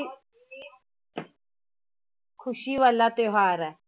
ਖ਼ੁਸ਼ੀ ਵਾਲਾ ਤਿਉਹਾਰ ਹੈ।